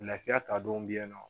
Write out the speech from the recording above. Lafiya ta don be yen nɔ